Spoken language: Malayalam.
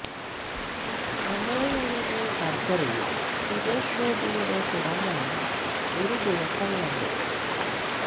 അമേയയുടെ സര്ജറിയും സുരേഷ് ഗോപിയുടെ പിറന്നാളും ഒരു ദിവസം വന്നു